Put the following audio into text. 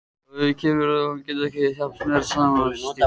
Að því kemur þó, að hann getur ekki þjappast meira saman og stífnar.